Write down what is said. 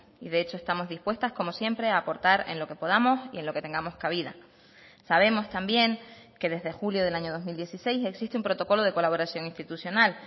y de hecho estamos dispuestas como siempre a aportar en lo que podamos y en lo que tengamos cabida sabemos también que desde julio del año dos mil dieciséis existe un protocolo de colaboración institucional